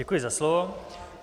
Děkuji za slovo.